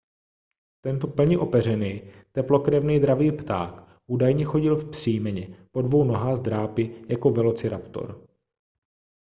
tento plně opeřený teplokrevný dravý pták údajně chodil vzpřímeně po dvou nohách s drápy jako velociraptor